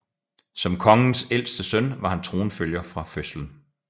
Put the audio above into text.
Som kongens ældste søn var han tronfølger fra fødslen